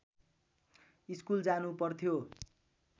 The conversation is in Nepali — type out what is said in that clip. स्कुल जानु पर्थ्यो